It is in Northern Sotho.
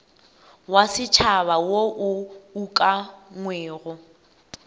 wa setšhaba wo o ukangwego